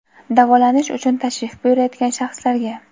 davolanish uchun tashrif buyurayotgan shaxslarga;.